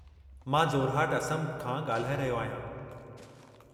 मां जोरहाट, असम खां ॻाल्हाऐ रहियो आहियां।